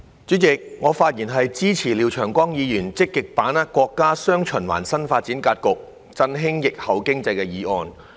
主席，我發言支持廖長江議員"積極把握國家'雙循環'新發展格局，振興疫後經濟"的議案。